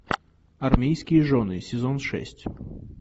армейские жены сезон шесть